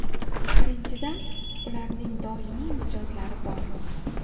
Birinchidan, ularning doimiy mijozlari bor.